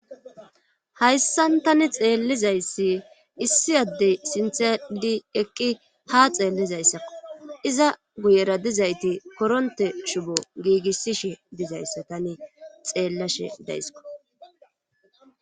hayssan tani xeellizayssi issi addey sinthe adhi eqqi ha xeellizayssakko iza guyera dizayti koronte shubo giigissishe dizayssa tani xeellashe dayssiko